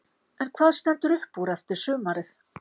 En hvað stendur upp úr eftir sumarið?